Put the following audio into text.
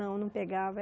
Não, não pegava.